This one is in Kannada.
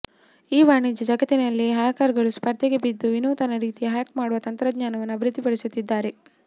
ಈ ವಾಣಿಜ್ಯ ಜಗತ್ತಿನಲ್ಲಿ ಹ್ಯಾಕರ್ಗಳು ಸ್ಪರ್ಧೆಗೆ ಬಿದ್ದು ವಿನೂತನ ರೀತಿಯಲ್ಲಿ ಹ್ಯಾಕ್ ಮಾಡುವ ತಂತ್ರಜ್ಞಾನವನ್ನು ಅಭಿವೃದ್ಧಿಪಡಿಸುತ್ತಿದ್ದಾರೆ